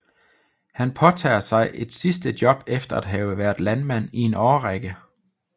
Han påtager sig et sidste job efter at have været landmand i en årrække